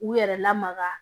U yɛrɛ lamaga